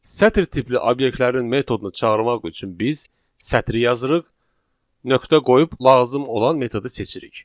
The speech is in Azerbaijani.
Sətir tipli obyektlərin metodunu çağırmaq üçün biz sətir yazırıq, nöqtə qoyub lazım olan metodu seçirik.